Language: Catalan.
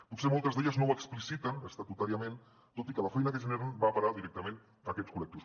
potser moltes d’elles no ho expliciten estatutàriament tot i que la feina que generen va a parar directament a aquests col·lectius